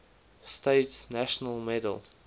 states national medal